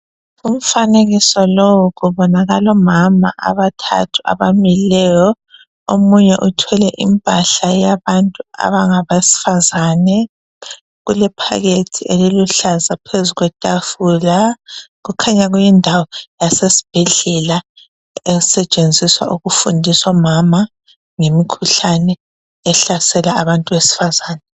Umfanekiso lowu kubonakala omama abathathu abamileyo omunye uthwele impahla eyabantu abangabesifazane kulephakethi eliluhlaza phezu kwetafula kukhanya kuyindawo yasesibhedlela esetshenziswa ukufundisa omama ngemikhuhlane ehlasela abantu besifazana.